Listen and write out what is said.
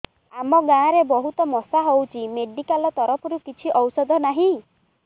ଆମ ଗାଁ ରେ ବହୁତ ମଶା ହଉଚି ମେଡିକାଲ ତରଫରୁ କିଛି ଔଷଧ ନାହିଁ